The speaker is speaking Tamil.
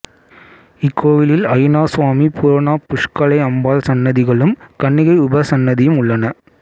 இக்கோயிலில் அய்யனார் சுவாமி பூரணா புஷ்கலை அம்பாள் சன்னதிகளும் கன்னிகை உபசன்னதியும் உள்ளன